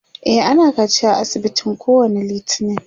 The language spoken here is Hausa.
e ana kaciya a asibitin kowani littani